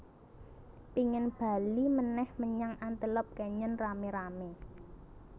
Pingin bali meneh menyang Antelope Canyon rame rame